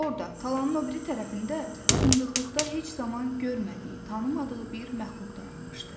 Orda talanın o biri tərəfində fındıqlıqda heç zaman görmədiyi, tanımadığı bir məxluq dayanmışdı.